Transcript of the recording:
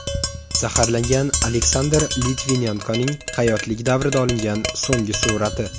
Zaharlangan Aleksandr Litvinenkoning hayotlik davrida olingan so‘nggi surati.